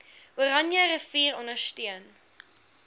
oranje rivier ondersteun